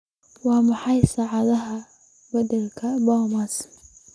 Waa maxay saacadaha bandhigga bomas?